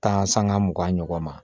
Taa sanga mugan ɲɔgɔn ma